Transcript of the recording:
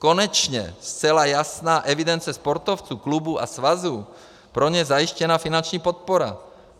Konečně zcela jasná evidence sportovců, klubů a svazů, pro ně zajištěná finanční podpora.